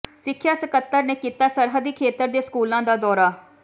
ਸਿੱਖਿਆ ਸਕੱਤਰ ਨੇ ਕੀਤਾ ਸਰਹੱਦੀ ਖੇਤਰ ਦੇ ਸਕੂਲਾਂ ਦਾ ਦੌਰਾ